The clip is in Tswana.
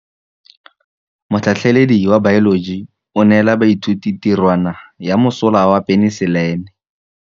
Motlhatlhaledi wa baeloji o neela baithuti tirwana ya mosola wa peniselene.